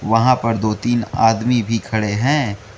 वहां पर दो तीन आदमी भी खडे हैं।